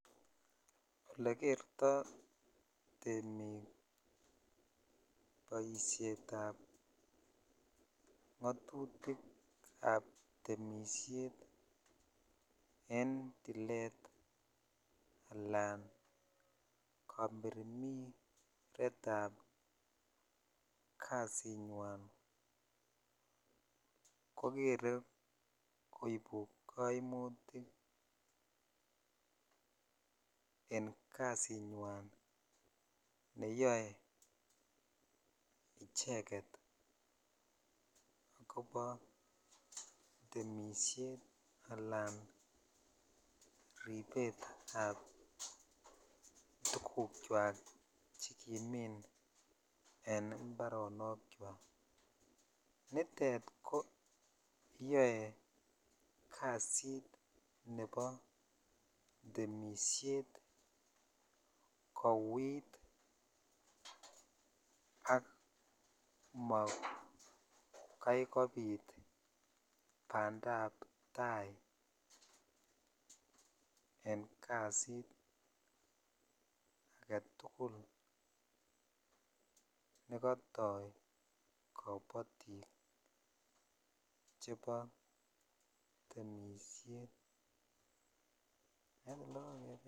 Ole kertoi temik boishetab ngatutik ab temishet en tilit alan kamirmiret ab kasinywan kokeree koibu kaimutik en kasinywan neyoe icheket kobo temishet alan ribetab tuguk chwak chekimin en imparonokchwak nitet kiyoe kasit nebo temishet koiit ak komakaikobit bandaptai en kasit aketukul nekotoi kobotik chebo temishet.